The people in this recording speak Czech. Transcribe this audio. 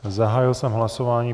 Zahájil jsem hlasování.